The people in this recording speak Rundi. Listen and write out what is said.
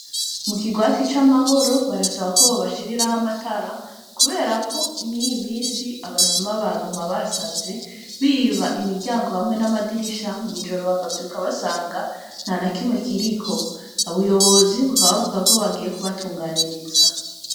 Mu kirwati c'amahoro barasaba ko boba shiriraho amatara kubera mwiyi minsi abasuma baguma basaze biba imiryango hamwe n'amadirisha mw'ijoro bakavyuka basanga ntanakimwe kiriko ubuyobozi bukaba buvuga ko bugiye kubatunganiriza.